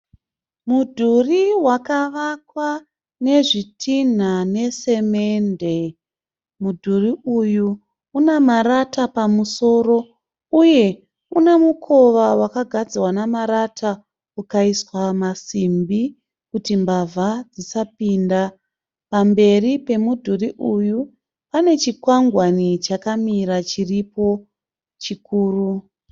Mudhuri wakavakwa nezvitinha nesemende. Mudhuri uyu une marata pamusoro uye une mukova wakagadzirwa nemarata ukaiswa masimbi kuti mbavha dzisapinda. Pamberi pemudhuri uyu pane chikwangwani chakamira chiripo chikuru.